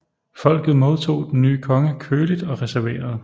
Folket modtog den nye konge køligt og reserveret